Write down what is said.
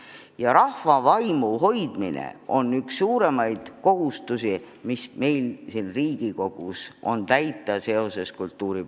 Ja rahva vaimu hoidmine on üks suuremaid kohustusi, mis meil siin Riigikogus kultuuripoliitika edendamisel täita tuleb.